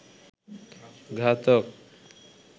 ঘাতক